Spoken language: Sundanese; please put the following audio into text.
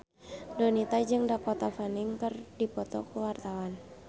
Donita jeung Dakota Fanning keur dipoto ku wartawan